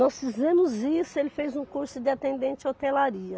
Nós fizemos isso, ele fez um curso de atendente hotelaria.